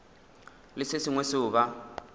le se sengwe seo ba